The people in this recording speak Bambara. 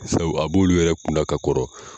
Sabu a b'olu yɛrɛ kunna ka kɔrɔ.